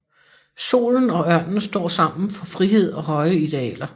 Solen og ørnen står sammen for frihed og høje idealer